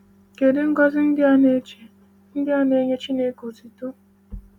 “Kedu ngọzi ndị na-eche ndị na-enye Chineke otuto?”